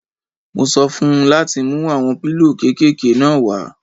Mo sọ fún un láti mú àwọn pílò kéékèké náà wá.